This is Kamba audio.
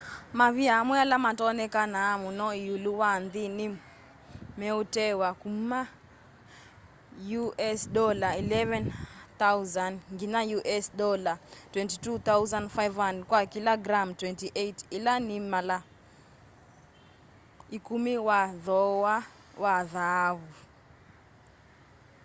mavia amwe ala matonekanaa muno iulu wa nthi ni meutewa kuma us$11,000 nginya us$22,500 kwa kila gram 28 ila ni mala ikumi wa thoowa wa thaavu